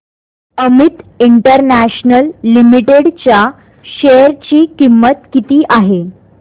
Amit international limited च्या share ची किंमत किती आहे